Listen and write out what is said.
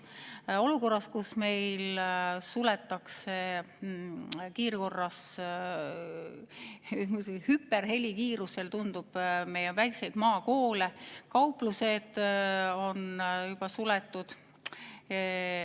Seda olukorras, kus meil suletakse kiirkorras, tundub, et hüperhelikiirusel, väikseid maakoole, kauplused on juba suletud.